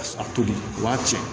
A tobi o b'a tiɲɛ